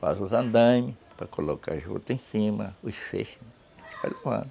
Faz os andaimes, para colocar a juta em cima, os feixes,